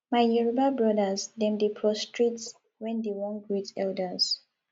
my yoruba brodas dem dey prostrate wen dey wan greet elders